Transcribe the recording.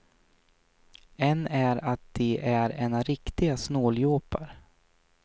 En är att de är ena riktiga snåljåpar.